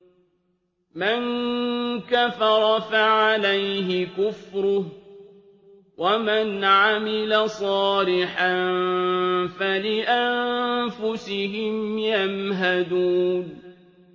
مَن كَفَرَ فَعَلَيْهِ كُفْرُهُ ۖ وَمَنْ عَمِلَ صَالِحًا فَلِأَنفُسِهِمْ يَمْهَدُونَ